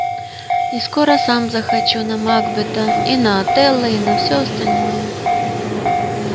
и скоро сам захочу на макбета и на отелло и на всё остальное